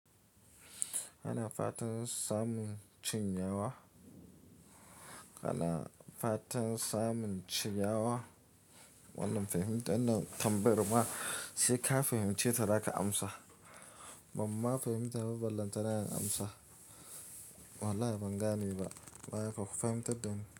Hana fatan samun cinyawa. Kana fatan samun cinyawa, wallah fehimta wannan tambayar ma sai ka fahimce ta za ka amsa. Bamma fahimta babu ballanta da yan amsa. Wallahi ban gane ba, waye kuka fahimtar da ni?